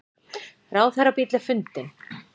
Ráðherrabíll er fundinn